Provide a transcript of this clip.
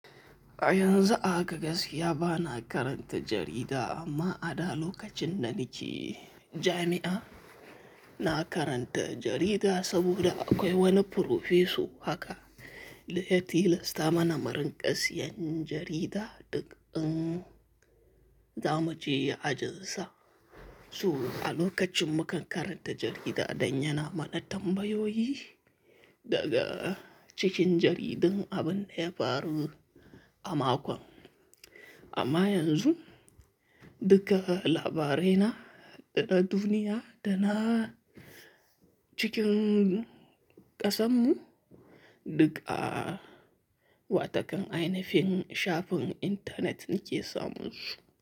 Yanzu haka gaskiya ba na karanta jarida amma a da lokacin nan ni ce jami'a, na karanta jarida saboda akwai wani furofeso haka, ya ti lasta mana murin ƙasiyan jarida duk in zamu je ajin sa. Su a lokacin mu kan karanta jarida dannyana mana tambayoyi daga cikin jaridun abin ne ya faru a makon. Amma yanzu duk labarai na da duniya da na cikin ƙasammu duk a wata kan ainihin shafin intanet ni ke samun su.